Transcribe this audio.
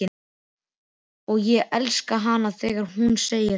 Og ég elska hana þegar hún segir það.